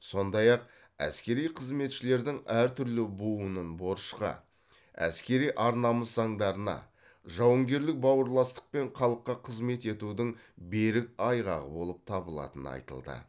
сондай ақ әскери қызметшілердің әртүрлі буынын борышқа әскери ар намыс заңдарына жауынгерлік бауырластық пен халыққа қызмет етудің берік айғағы болып табылатыны айтылды